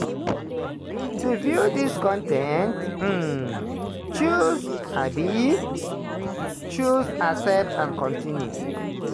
to view dis con ten t um choose um choose 'accept and continue'.